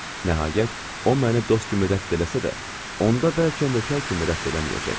Nəhayət, o məni dost kimi rədd etsə də, onda bəlkə nökər kimi rədd eləməyəcək.